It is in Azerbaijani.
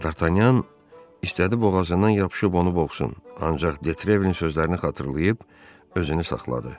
Dartanyan istədi boğazından yapışıb onu boğsun, ancaq De Trevilin sözlərini xatırlayıb özünü saxladı.